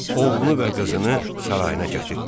Oğlunu və qızını sarayına gətirtdirir.